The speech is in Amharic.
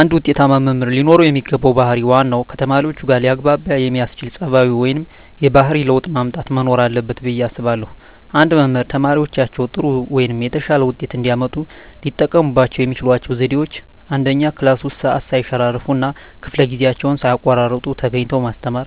አንድ ውጤታማ መምህር ለኖረው የሚገባው ባህር ዋናው ከተማሪዎቹጋ ሊያግባባ የሚያስችል ፀባዩ ወይም የባህሪ ለውጥ ማምጣት መኖር አለበት ብየ አስባለሁ። አንድ መምህር ተማሪዎቻቸው ጥሩ ወይም የተሻለ ውጤት እንዲያመጡ ሊጠቀሙባቸው የሚችሏቸው ዘዴዎች፦ 1, ክላስ ውስጥ ሰዓት ሰይሸራርፍ እና ከፈለ ጊዜአቸውን ሳይቀጡ ተገኝተው ማስተማር።